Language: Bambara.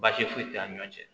Baasi foyi t'an ni ɲɔɔn cɛ